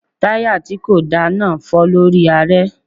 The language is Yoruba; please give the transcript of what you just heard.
Táyà tí kò dára náà fọ́ lórí aré.